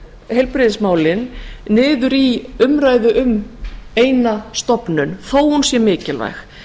heilbrigðismálin niður í umræðu um eina stofnun þó hún sé mikilvæg